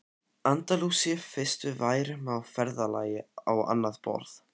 Andalúsíu fyrst við værum á ferðalagi á annað borð.